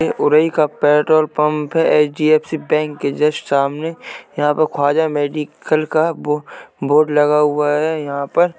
ये ओरई का petrol pump है | एचडीएफसी बैंक के जस्ट सामने यहाँ पे ख्वाजा मेडिकल का बो बोर्ड लगा हुआ है यहाँ पर --